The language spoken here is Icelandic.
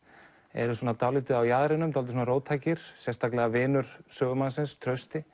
eru svona dálítið á jaðrinum dálítið róttækir sérstaklega vinur sögumannsins Trausti